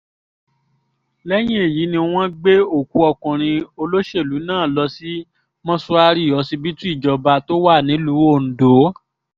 lẹ́yìn èyí ni wọ́n gbé òkú ọkùnrin olóṣèlú náà lọ sí mọ́ṣúárì ọsibítù ìjọba tó wà nílùú ondo